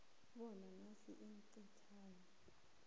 bona inac ithintane